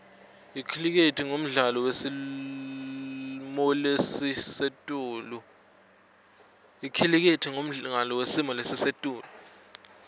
icricket mdlalo wesimolesisetulu